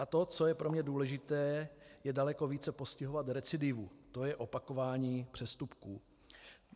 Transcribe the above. A to, co je pro mě důležité, je daleko více postihovat recidivu, to je opakování přestupků.